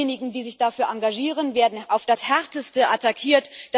Diejenigen, die sich dafür engagieren, werden auf das Härteste attackiert.